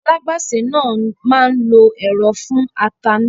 Alágbàsè náà máa lo ẹ̀rọ fún ata náà